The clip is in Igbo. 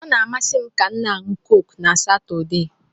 Ọ na-amasị m kam na-anu Coke na Satọde